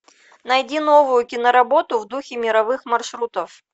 найди новую киноработу в духе мировых маршрутов